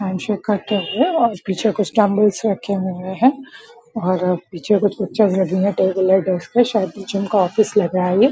ऐसे करते हुए पीछे कुछ डम्बल्स रखे हुए हैं और पीछे कुछ पिक्चर्स लगी हुए हैं टेबल है शायद ये इनका ऑफिस लग रहा है ये।